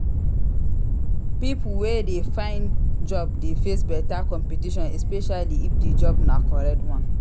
Pipo wey de find job de face better competition esepecially if di job na correct one